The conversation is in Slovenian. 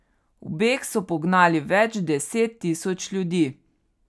V beg so pognali več deset tisoč ljudi.